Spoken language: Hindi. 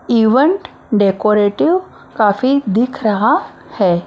इवेंट डेकोरेटिव काफी दिख रहा है।